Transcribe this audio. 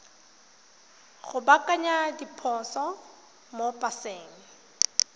go baakanya diphoso mo paseng